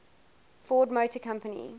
ford motor company